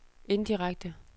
indirekte